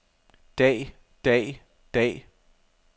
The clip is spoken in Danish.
dag dag dag